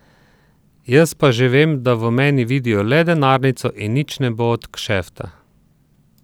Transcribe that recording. Jaz pa že vem, da v meni vidijo le denarnico in nič ne bo od kšefta.